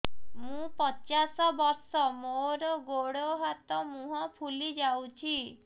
ମୁ ପଚାଶ ବର୍ଷ ମୋର ଗୋଡ ହାତ ମୁହଁ ଫୁଲି ଯାଉଛି